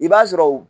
I b'a sɔrɔ u